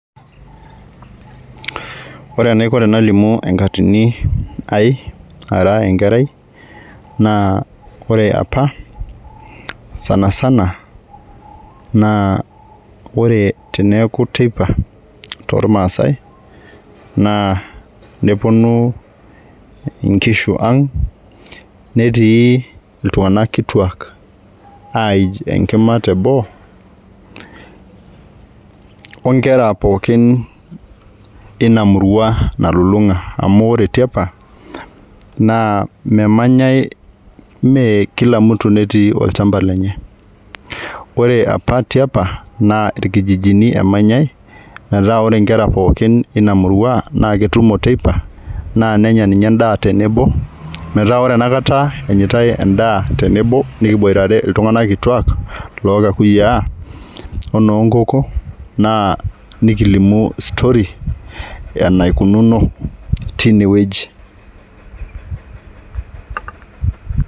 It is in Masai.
Ore enaiko tenalimu enkatini ai ara enkerai naa ore apa sansana, naa ore apa teneeku teipa tormaasae naa neponu inkishu ang , netii iltunganak kituak aij enkima teboo onkera pookin inamurua nalulunga amu ore tiapa naa memanyae , mmee kila mtu netii olchamba lenye, ore apa tiapa naa irkijijini emanyae metaa ore inkera pookin ina murua naa ketumo teipa naa nenya ninye endaa tenebo metaa ore enakata enyitae endaa tenebo nikiboitare iltunganak kituak loo kakuyiaa onoo nkoko naa nikilimu story enaikununo tinewueji .